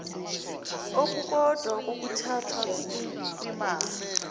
okukodwa kokuthatha kwimali